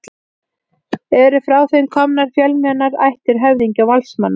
Eru frá þeim komnar fjölmennar ættir höfðingja og valdsmanna.